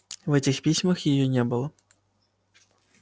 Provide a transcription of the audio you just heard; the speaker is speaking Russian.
в этих письмах её не было